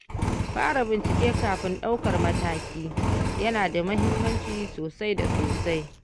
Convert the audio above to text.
Fara bincike kafin ɗaukar mataki yana da muhimmanci sosai da sosai.